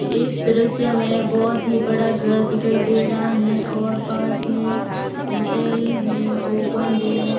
इस दृश्य में बहोत ही बड़ा घर दिखाई दे रहा है और पास में होटल है जो बंद है।